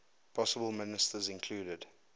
possible ministers included